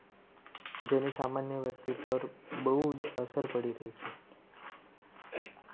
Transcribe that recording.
જેની સામાન્ય વ્યક્તિ પર બહુ જ અસર પડી રહી છે.